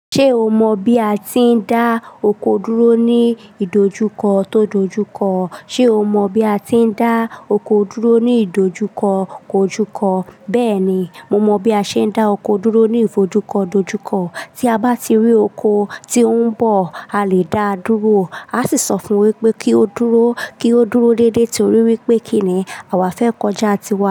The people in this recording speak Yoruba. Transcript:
Ṣé o mọ bí a ti ń dá oko dúró ní ìdojúkọ tó dojúkọ? Ṣé o mọ bí a ti ń dá oko dúró ní ìdojúkọ kò júkọ? Bẹ́ẹ̀ni, mo mọ bí a ṣe ń dá oko dúró ní ìfojúkọ dojúkọ. Tí a bá ti rí oko tí ó ń bọ̀, a lè dá a dúró. A sì sọ fún wípé kí ó dúró, kí ó dúró déédéé torí wípé kíni àwa fẹ́ kọjá tiwọn.